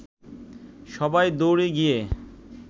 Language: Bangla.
সবাই দৌড়ে গিয়ে